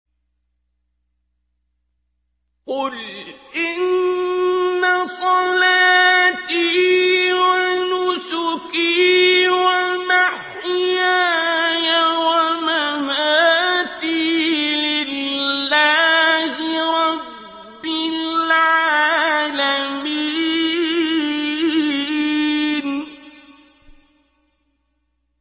قُلْ إِنَّ صَلَاتِي وَنُسُكِي وَمَحْيَايَ وَمَمَاتِي لِلَّهِ رَبِّ الْعَالَمِينَ